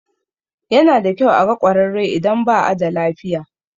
Yana da kyau a ga ƙwararre idan ba a da lafiya.